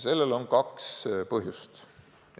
Sellel on kaks põhjust.